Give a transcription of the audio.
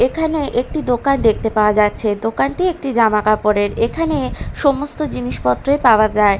এখানে একটি দোকান দেখতে পাওয়া যাচ্ছে দোকানটি একটি জামা কাপড়ের এখানে সমস্ত জিনিসপত্রই পাওয়া যায়।